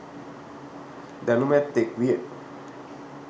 දැනුමැත්තෙක් විය